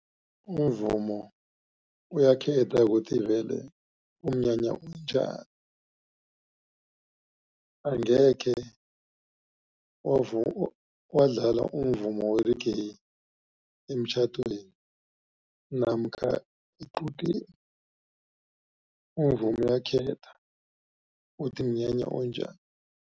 Umvumo uyakhetha ukuthi vele umnyanya onjani. Angekhe wadlala umvumo we-reggae emtjhadweni namkha equdeni. Umvumo uyakhetha ukuthi mnyanya onjani.